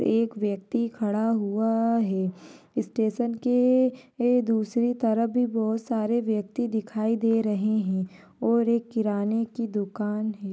एक व्यक्ति खड़ा हुआ है स्टेशन के ऐ ये दूसरी तरफ बोहोत सारे व्यक्ति दिखाई दे रहे हैं और एक किराने की दुकान है।